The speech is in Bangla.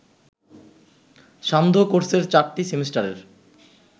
সান্ধ্যকোর্সের চারটি সেমিস্টারের